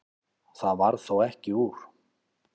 Það varð þó ekki úr.